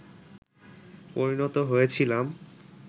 পরিণত হয়েছিলাম